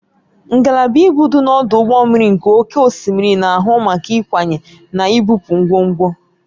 Ngalaba ibu dị n'ọdụ ụgbọ mmiri nke oké osimiri na-ahụ maka ịkwanye na ibupu ngwongwo.